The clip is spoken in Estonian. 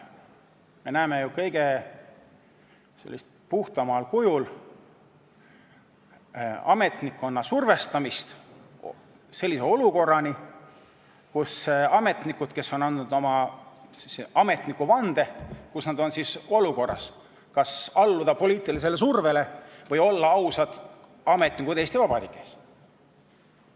Me näeme ju kõige puhtamal kujul ametnikkonna survestamist, kuni selleni, et ametnikud, kes on andnud oma ametnikuvande, on olukorras, kas alluda poliitilisele survele või olla ausad ametnikud Eesti Vabariigis.